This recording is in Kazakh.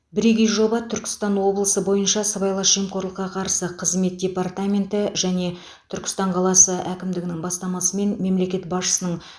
бірегей жоба түркістан облысы бойынша сыбайлас жемқорлыққа қарсы қызмет департаменті және түркістан қаласы әкімдігінің бастамасымен мемлекет басшысының